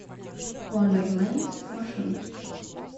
вондерлэнд маршрут